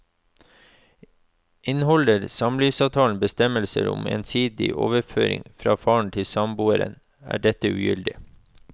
Inneholder samlivsavtalen bestemmelser om ensidig overføring fra faren til samboeren, er dette ugyldig.